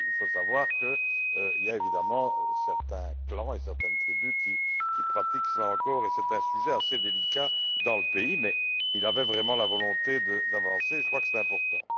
Il faut savoir qu'il y a évidemment certains clans et certaines tribus qui pratiquent encore cela et c'est un sujet assez délicat dans le pays, mais il avait vraiment la volonté d'avancer et je crois que c'est important.